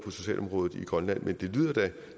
af socialområdet i grønland men det lyder da